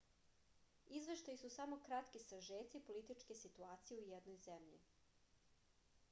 izveštaji su samo kratki sažeci političke situacije u jednoj zemlji